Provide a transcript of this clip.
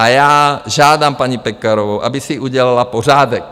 A já žádám paní Pekarovou, aby si udělal pořádek.